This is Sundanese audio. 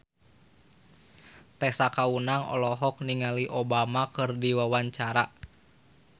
Tessa Kaunang olohok ningali Obama keur diwawancara